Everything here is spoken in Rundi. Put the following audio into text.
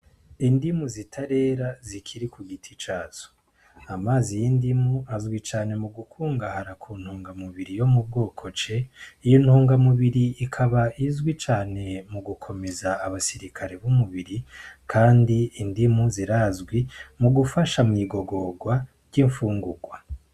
Indimu zitarera ziri ku giti cazo, Amazi y'indimu azwi cane mu gukungahara ku ntungamubiri yo mu bwoko c iyo ntunga mubiri ikaba izwi cane mu gukomeza abasirikare b'umubiri kandi indimu zirazwi mu gufasha mw'igogorwa ry'ifungurwa.